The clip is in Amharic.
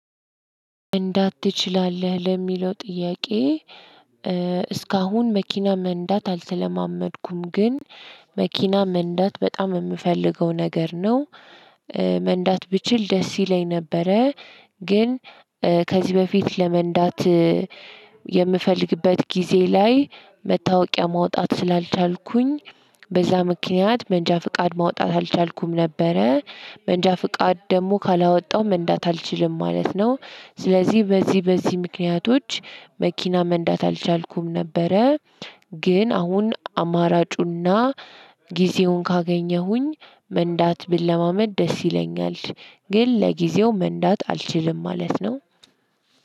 መንዳት ትችላለህ ለሚለው ጥያቄ እስካሁን መኪና መንዳት አልተለማመድኩም ግን መኪና መንዳት በጣም የምፈልገው ነገር ነው። መንዳት ብችል ደስ ይለኝ ነበረ። ግን ከዚህ በፊት ለመንዳት የምፈልግበት ጊዜ ላይ መታወቂያ ማውጣት ስላልቻልኩኝ በዛ ምክንያት መንጃ ፍቃድ ማውጣት አልቻልኩም። ነበረ መንጃ ፍቃድ ደግሞ ካላወጣው መንጃት አልችልም ማለት ነው። ስለዚህ በዚህ በዚህ ምክንያቶች መኪና መንዳት አልቻልኩም ነበረ። ግን አሁን አማራጩና ጊዜውን ካገኘሁኝ መንዳት ብለማመድ ደስ ይለኛል። ግን ለጊዜው መንዳት አልችልም ማለት ነው።